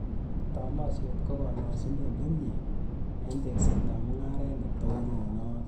Tolosiet ko kolosunet ne mie eng teeksetab mungaret ne tononot